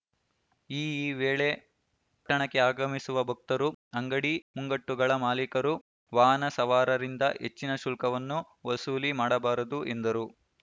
ಈ ಈ ವೇಳೆ ಪಟ್ಟಣಕ್ಕೆ ಆಗಮಿಸುವ ಭಕ್ತರು ಅಂಗಡಿ ಮುಂಗಟ್ಟುಗಳ ಮಾಲಿಕರು ವಾಹನ ಸವಾರರಿಂದ ಹೆಚ್ಚಿನ ಶುಲ್ಕವನ್ನು ವಸೂಲಿ ಮಾಡಬಾರದು ಎಂದರು